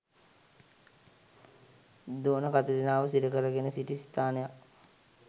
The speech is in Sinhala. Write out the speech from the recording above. දෝන කතිරිනාව සිරකරගෙන සිටි ස්ථානයක්